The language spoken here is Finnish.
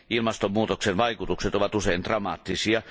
Ilmastonmuutoksen vaikutukset ovat usein dramaattisia.